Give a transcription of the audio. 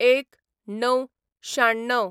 ०१/०९/९६